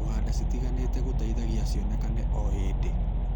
kũhanda citiganĩte gũteithagio cionekane o hĩndĩ.